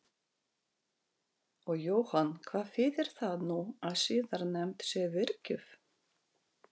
Og Jóhann hvað þýðir það nú að siðanefnd sé virkjuð?